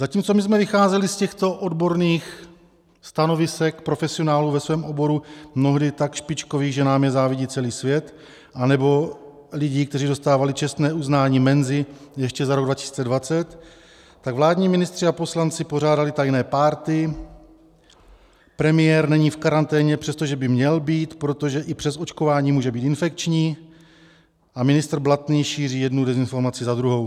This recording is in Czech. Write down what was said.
Zatímco my jsme vycházeli z těchto odborných stanovisek profesionálů ve svém oboru, mnohdy tak špičkových, že nám je závidí celý svět, anebo lidí, kteří dostávali Čestné uznání Mensy ještě za rok 2020, tak vládní ministři a poslanci pořádali tajné párty, premiér není v karanténě, přestože by měl být, protože i přes očkování může být infekční, a ministr Blatný šíří jednu dezinformaci za druhou.